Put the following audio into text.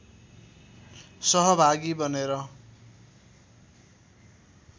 सहभागी बनेर